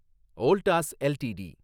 Voltas LTD